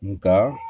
Nga